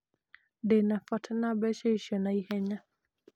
Ndĩ na bata wa mbeca icio na ihenya.